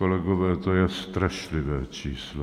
Kolegové, to je strašlivé číslo.